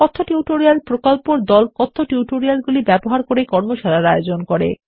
কথ্য টিউটোরিয়াল প্রকল্পর দল কথ্য টিউটোরিয়ালগুলি ব্যবহার করে কর্মশালার আয়োজন করে